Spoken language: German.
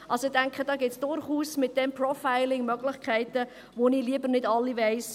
Ich denke, mit diesem Profiling gibt es durchaus Möglichkeiten, die ich lieber nicht alle weiss.